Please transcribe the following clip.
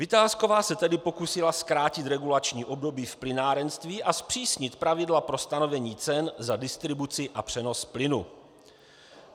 Vitásková se tehdy pokusila zkrátit regulační období v plynárenství a zpřísnit pravidla pro stanovení cen za distribuci a přenos plynu.